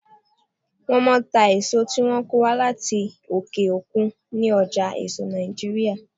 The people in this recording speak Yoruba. Wọ́n máa ń ta èso tí wọ́n kó wá láti òkè òkun ní ọjà èso Nàìjíríà.